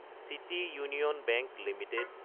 city Union Bank Ltd